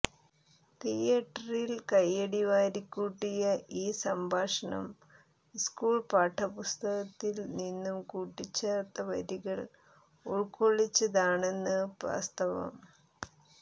തിയേറ്ററിൽ കയ്യടിവാരിക്കൂട്ടിയ ഈ സംഭാഷണം സ്കൂൾ പാഠപുസ്തകത്തിൽ നിന്നും കൂട്ടിച്ചേർത്ത വരികൾ ഉൾക്കൊള്ളിച്ചതാണെന്നത് വാസ്തവം